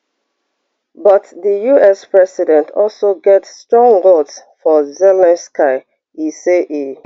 but di us president also get strong words for zelensky e say e